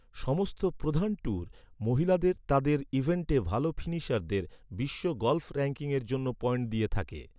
সমস্ত প্রধান ট্যুর, মহিলাদের তাদের ইভেন্টে ভাল ফিনিশারদের, বিশ্ব গল্ফ র‍্যাঙ্কিংয়ের জন্য পয়েন্ট দিয়ে থাকে।